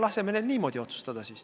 Laseme neil siis niimoodi otsustada.